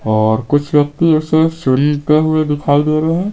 और कुछ व्यक्ति ऐसे सुनते हुए दिखाई दे रहे हैं।